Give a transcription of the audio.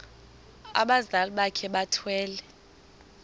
abazali bakhe bethwele